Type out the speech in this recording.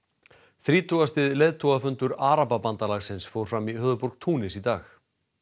þrítugasti leiðtogafundur Arababandalagsins fór fram í höfuðborg Túnis í dag